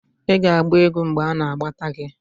ị ga-agba egwu mgbe anagbata gi?